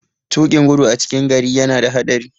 Tuƙin gudu a cikin gari yana da haɗari.